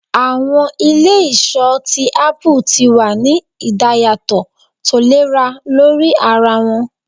Awọn ile-iṣọ ti apu ti wa ni idayatọ tolera lori ara wọn